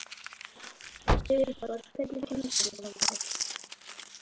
Sigurborg, hvernig kemst ég þangað?